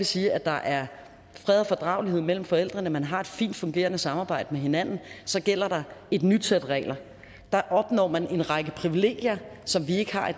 sige at der er fred og fordragelighed mellem forældrene at man har et fint fungerende samarbejde med hinanden og så gælder der et nyt sæt regler der opnår man en række privilegier som vi ikke har